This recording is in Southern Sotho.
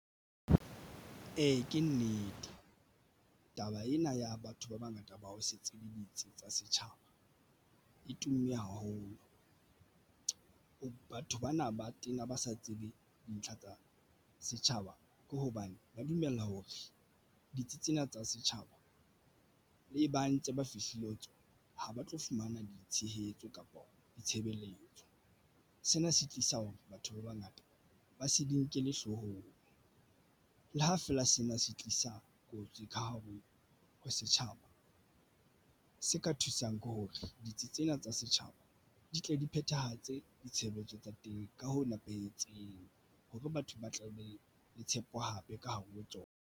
Ee, ke nnete taba ena ya batho ba bangata ba o setse le ditsi tsa setjhaba e tumme haholo. Batho bana ba tena ba sa tsebe dintlha tsa setjhaba ke hobane ka ba dumella hore ditsi tsena tsa setjhaba le ba ntse ba fihlile ho tswa ho ba tlo fumana ditshehetso kapa ditshebeletso. Sena se tlisa hore batho ba bangata ba se di nkelle hloohong le ha feela sena se tlisa kotsi ka hare ho setjhaba se ka thusang ke hore ditsi tsena tsa setjhaba di tle di phethahatse ditshebeletso tsa teng ka ho nepahetseng hore batho ba tla beng le tshepo hape ka hare ho tsona.